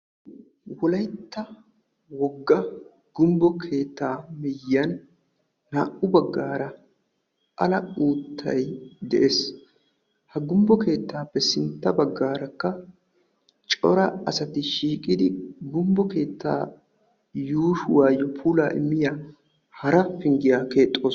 wolaytta wogga gumbbo keettaa miyyan naa''u baggaara ala uuttay de'ees ha gumbbo keettaappe sintta baggaarakka cora asati shiiqidi gumbbo keettaa yuushuwaayyo pulaa immiya hara pinggiyaa keexxoos